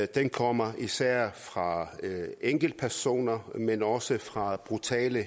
den kommer især fra enkeltpersoner men også fra brutale